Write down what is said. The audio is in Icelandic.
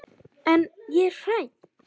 En ég er hrædd.